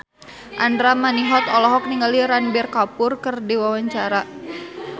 Andra Manihot olohok ningali Ranbir Kapoor keur diwawancara